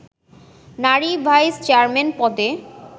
নারী vice chairman পদে